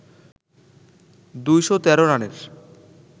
২১৩ রানের